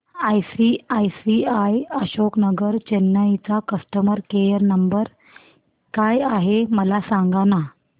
ICICI Ashok Nagar Chennai चा customer care number काय आहे मला सांगाना